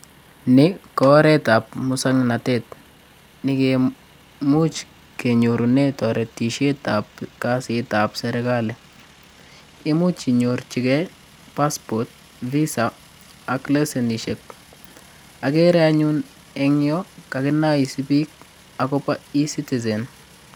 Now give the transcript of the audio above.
Ni ko oretab muswang'natet negemuch kenyorunee toretishetzb kasit ab serikali. Imuch inyorchigei passport visa ak lessenishek. Agere anyun kokinaisii biik akopo e-citizen.